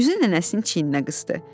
Üzün nənəsinin çiyninə qısdı.